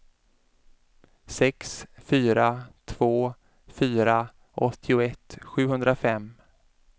sex fyra två fyra åttioett sjuhundrafem